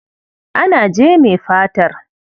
Ana jeme fatar.